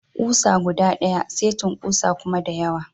Kusa guda daya, setin kusa kuma da yawa.